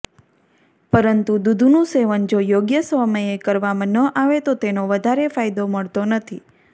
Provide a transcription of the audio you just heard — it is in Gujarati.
પરંતુ દૂધનું સેવન જો યોગ્ય સમયે કરવામાં ન આવે તો તેનો વધારે ફાયદો મળતો નથી